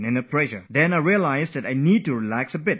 Then I realize that if I relax a bit, I will feel better